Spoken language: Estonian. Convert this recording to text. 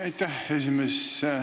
Aitäh, esimees!